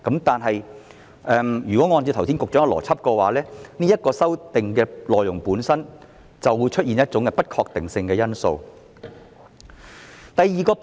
但是，按照局長剛才的邏輯，這項修訂的內容本身就會出現一種不確定性因素。